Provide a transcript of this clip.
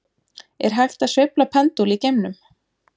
Er hægt að sveifla pendúl í geimnum?